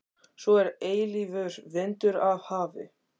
Svo er eilífur vindur af hafi.